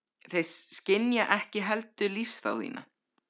Þeir skynja ekki heldur lífsþrá þína.